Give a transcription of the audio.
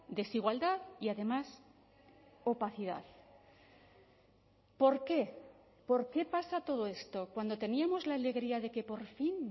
desigualdad y además opacidad por qué por qué pasa todo esto cuando teníamos la alegría de que por fin